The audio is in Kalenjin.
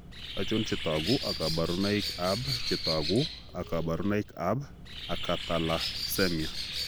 Achon chetogu ak kaborunoik ab chetogu ak kaborunoik ab Acatalasemia?